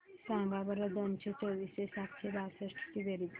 सांगा बरं दोनशे चोवीस व सातशे बासष्ट ची बेरीज